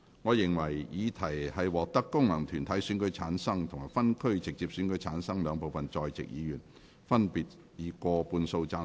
我認為議題獲得經由功能團體選舉產生及分區直接選舉產生的兩部分在席議員，分別以過半數贊成。